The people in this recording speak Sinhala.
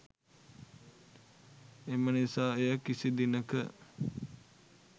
එම නිසා එය කිසි දිනක